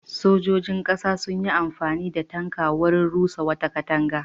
Sojojin ƙasa sun yi amfani da tanka wurin rusa wata katanga.